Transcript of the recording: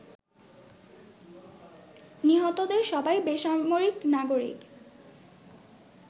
নিহতদের সবাই বেসামরিক নাগরিক